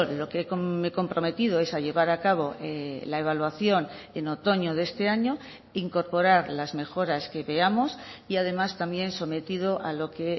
lo que me he comprometido es a llevar a cabo la evaluación en otoño de este año incorporar las mejoras que veamos y además también sometido a lo que